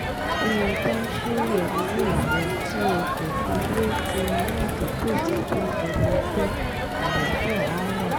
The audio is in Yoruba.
bí o bá ń ṣírò owó rẹ tí o kò fi wé ti aládùúgbò tàbí ẹlẹgbẹ́ àlàáfíà á wà